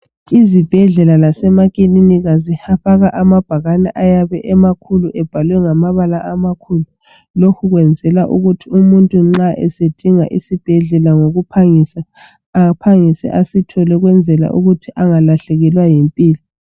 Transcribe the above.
Izibhedlela lasemakilinika zifaka amabhakane ayabe emakhulu ebhalwe ngamabala amakhulu lokhu kwenzelwa ukuthi umuntu nxa esedinga isibhedlela ngokuphangisa, aphangise asithole ukwenzela ukuthi angalahlekelwa yimpilo.